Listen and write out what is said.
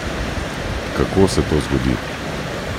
Kako se to zgodi?